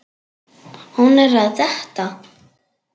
Hún er að detta.